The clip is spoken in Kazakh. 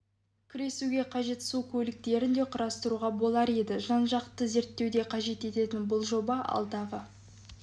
күресуге қажет су көліктерін де құрастыруға болар еді жан-жақты зерттеуді қажет ететін бұл жоба алдағы